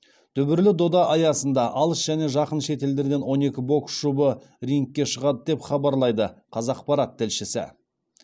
дүбірлі дода аясында алыс және жақын шетелдерден он екі бокс жұбы рингке шығады деп хабарлайды қазақпарат тілшісі